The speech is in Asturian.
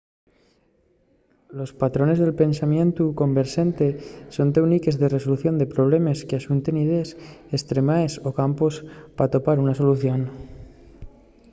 los patrones de pensamientu converxente son téuniques de resolución de problemes qu’axunten idees estremaes o campos p’atopar una solución